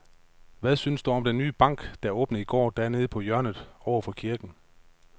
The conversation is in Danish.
Hvad synes du om den nye bank, der åbnede i går dernede på hjørnet over for kirken?